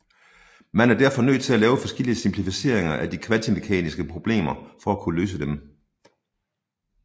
Man er derfor nødt til at lave forskellige simplificeringer af de kvantemekaniske problemer for at kunne løse dem